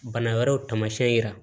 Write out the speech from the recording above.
Bana wɛrɛw taamasiyɛn yira